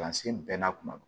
Kalansen bɛɛ na kuma do